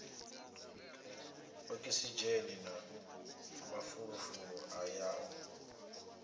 okisidzheni na mafulufulu a yaho